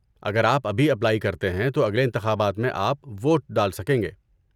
اگر آپ ابھی اپلائی کرتے ہیں تو اگلے انتخابات میں آپ ووٹ ڈال سکیں گے۔